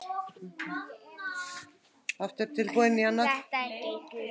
Þetta gengur vel.